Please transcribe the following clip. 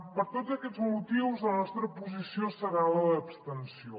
per tots aquests motius la nostra posició serà la d’abstenció